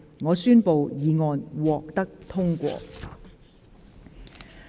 我宣布議案獲得通過。